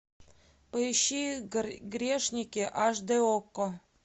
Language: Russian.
поищи грешники аш д окко